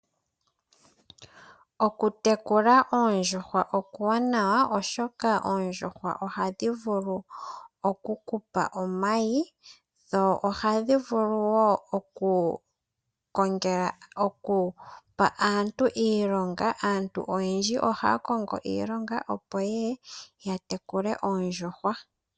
Okutekula oondjuhwa okuwanawa oshoka, oondjuhwa ohadhi vulu okukupa omayi dho ohadhi vulu wo okupa aantu iilonga. Aantu oyendji ohaya kongo iilongo opo yeye yatekule oondjuhwa.